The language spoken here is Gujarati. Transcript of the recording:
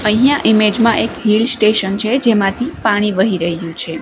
અહીંયા ઈમેજ માં એક હિલ સ્ટેશન છે જેમાંથી પાણી વહી રહ્યું છે.